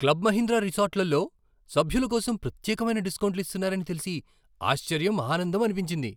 Club Mahindra రిసార్ట్లలో సభ్యుల కోసం ప్రత్యేకమైన డిస్కౌంట్లు ఇస్తున్నారని తెలిసి ఆశ్చర్యం, ఆనందం అనిపించింది.